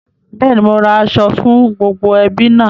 Bẹ́ẹ̀ni, mo ra aṣọ fún gbogbo ẹbí náà